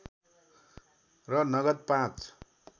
र नगद पाँच